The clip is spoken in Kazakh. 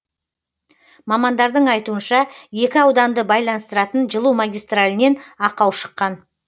мамандардың айтуынша екі ауданды байланыстыратын жылу магистралінен ақау шыққан